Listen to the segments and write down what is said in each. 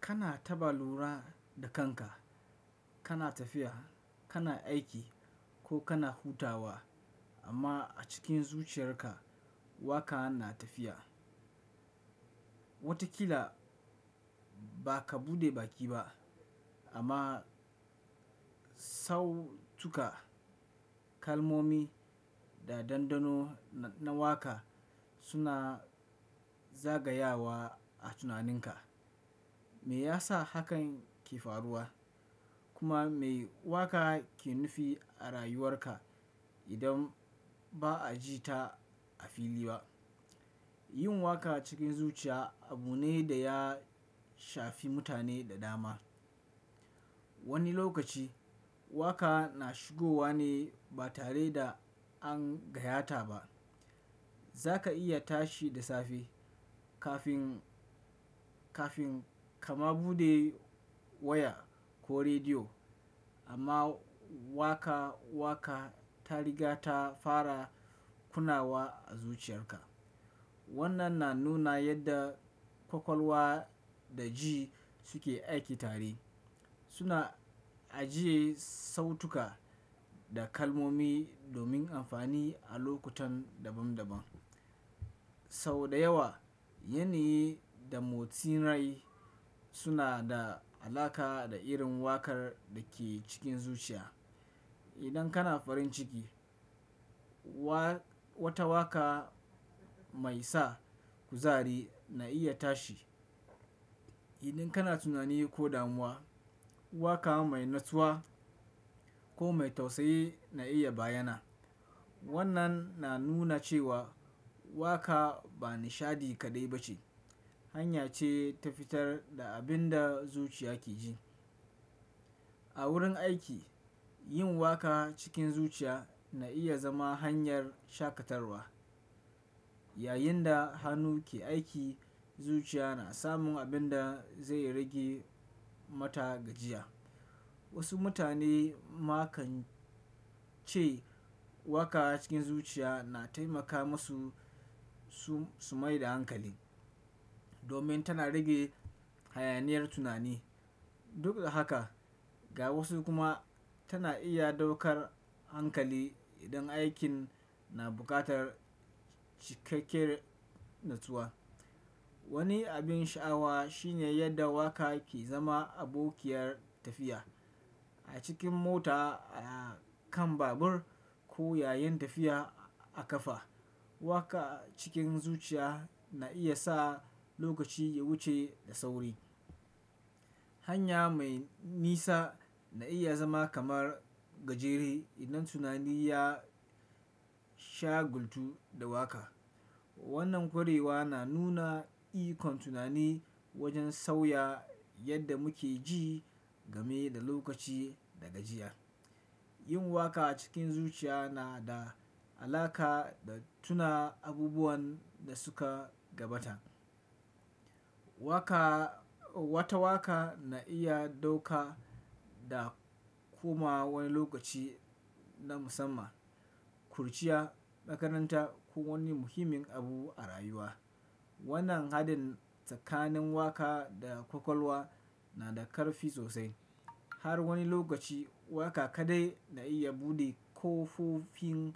Kana taɓa lura da kanka, kana tafiya, kana aiki ko kana hutawa amma a cikin zuciyarka waƙa na tafiya. Watakila ba ka buɗe baki ba amma sautuka, kalmomi da dandano na waka suna zagayawa a tunaninka. Me yasa hakan ke faruwa? Kuma me waka ke nufi a rayuwarka idan ba a ji ta a fili ba? Yin waƙa cikin zuciya abu ne da ya shafi mutane da dama. Wani lokaci waƙa na shigowa ne ba tare da an gayyata ba. Za ka iya tashi da safe kafin, kafin kama buɗe waya ko rediyo amma waƙa waƙa tariga ta fara kunnawa a zuciyarka. Wannan na nuna yadda kwakwalwa da ji suke aiki tare. Suna ajiye sautuka da kalmomi domin amfani a lokutan daban-daban. Sau da yawa, yini da motsin rai suna da alaƙa da irin wakar da ke cikin zuciya. Idan kana farin ciki, wa wata waka mai sa kuzari na iya tashi. Idan kana tunani ko damuwa, waka mai natsuwa ko mai tausayi na iya bayyana. Wannan na nuna cewa waka ba nishaɗi kaɗai ba ce, hanya ce ta fitar da abin da zuciya ke ji. A wurin aiki, yin waka cikin zuciya na iya zama hanyar shaƙatarwa. Yayinda hannu ke aiki, zuciya na samun abin da zai rage mata gajiya. Wasu mutane ma kan ce waka cikin zuciya na taimaka musu su, su mai da hankali domin tana rage hayaniyar tunani. Duk da haka, ga wasu kuma tana iya ɗaukar hankali idan aikin na buƙatar cikakken natsuwa. Wani abin sha'awa shine yadda waka ke zama abokiyar tafiya. A cikin mota, a kan babur ko yayin tafiya a ƙafa, waƙa cikin zuciya na iya sa lokaci ya wuce da sauri. Hanya mai nisa na iya zama kamar gajere idan tunani ya shagultu da waka. Wannan ƙwarewa na nuna ikon tunani wajen sauya yadda muke ji game da lokaci da gajiya. Yin waka cikin zuciya na da alaƙa da tuna abubuwan da suka gabata. Waƙa, wata waƙa na iya ɗauka da kuma wani lokaci na musamman, kurciya, makaranta ko wani muhimmin abu a rayuwa. Wannan haɗin tsakanin waka da kwakwalwa na da ƙarfi sosai. Har wani lokaci waka kaɗai na iya buɗe ƙofofin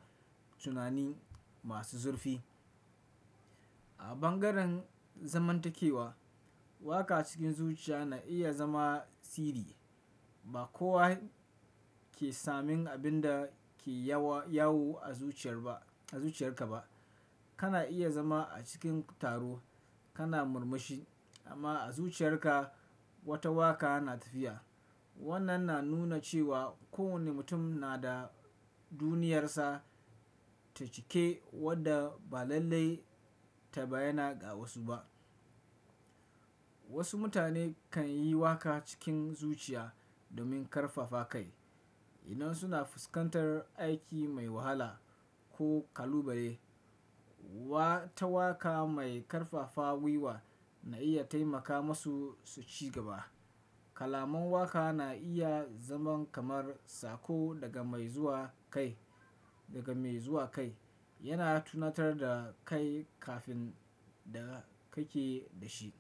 tunani masu zurfi. A ɓangaren zamantakewa, waka cikin zuciya na iya zama sirri. Ba kowa ke samun abin da ke yawo, yawo a zuciyar ba, a zuciyarka ba. Kana iya zama a cikin taro kana murmushi amma a zuciyarka wata waka na tafiya. Wannan na nuna cewa kowane mutum na da duniyarsa ta cike wadda ba lallai ta bayyana ga wasu ba. Wasu mutane kan yi waka cikin zuciya domin ƙarfafa kai. Idan suna fuskantar aiki mai wahala ko ƙalubale, wata waka mai ƙarfafa gwiwa na iya taimaka musu su ci gaba. Kalamun waƙa na iya zama kamar sako daga mai zuwa kai, daga mai zuwa kai. Yana tunatar da kai kafin da kake da shi.